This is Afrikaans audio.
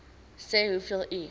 sê hoeveel u